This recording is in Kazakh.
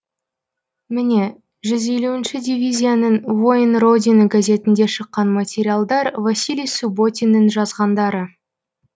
міне жүз елуінші дивизияның воин родины газетінде шыққан материалдар василий субботиннің жазғандары